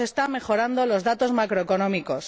no se están mejorando los datos macroeconómicos